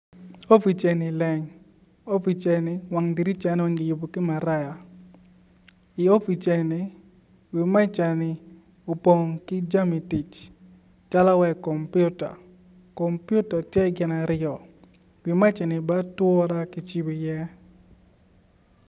Opic eni leng opic eni wang diricane kiyubo ki maraya i opic eni wi meja ni opong ki jami tic calo wai kompiuta kompuita tye gin aryo wi mejani bene ature kicibo iye.